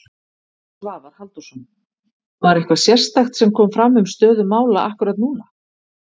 Svavar Halldórsson: Var eitthvað sérstakt sem kom fram um stöðu mála akkúrat núna?